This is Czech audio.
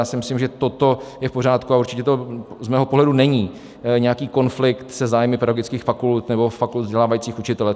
Já si myslím, že toto je v pořádku, a určitě to z mého pohledu není nějaký konflikt se zájmy pedagogických fakult nebo fakult vzdělávajících učitele.